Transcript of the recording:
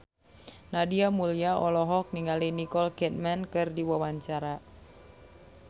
Nadia Mulya olohok ningali Nicole Kidman keur diwawancara